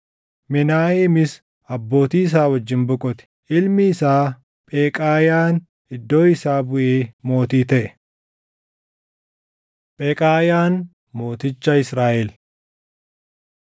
Menaaheemis abbootii isaa wajjin boqote. Ilmi isaa Pheqaayaan iddoo isaa buʼee mootii taʼe. Pheqaayaan Mooticha Israaʼel